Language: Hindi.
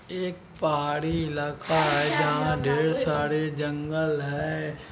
एक पहाड़ी इलाका है यहाँ ढेर सारे जंगल है।